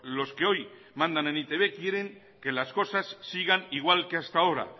los que hoy mandan en e i te be quieren que las cosas sigan igual que hasta ahora